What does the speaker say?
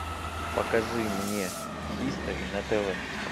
покажи мне хистори на тв